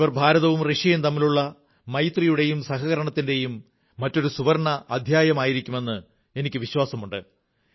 ഇവർ ഭാരതവും റഷ്യയും തമ്മിലുള്ള മൈത്രിയുടെയും സഹകരണത്തിന്റെയും മറ്റൊരു സുവർണ്ണ അധ്യായമായിരിക്കുമെന്ന് എനിക്ക് വിശ്വാസമുണ്ട്